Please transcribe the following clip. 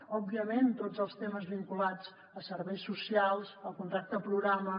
òbviament tots els temes vinculats a serveis socials al contracte programa